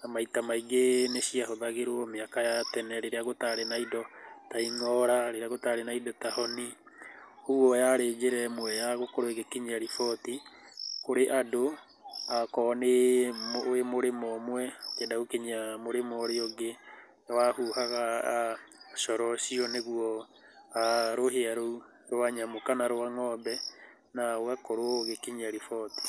na maita maingĩ nĩ ciahũthagĩrwo mĩaka ya tene rĩrĩa gũtarĩ na indo ta ing'ora, rĩrĩa gũtarĩ na indo ta honi, koguo yarĩ njĩra ĩmwe ya gũkorwo ĩgĩkinyia riboti kũrĩ andĩ. Okorwo wĩ mũrĩmo ũmwe ũkĩenda gũkinyia mũrĩmo ũrĩa ũngĩ, nĩwahuhaga coro ũcio, nĩwahuhaga rũhĩa rũu rwa nyamũ kana rwa ng'ombe na ũgakorwo ũgĩkinyia riboti.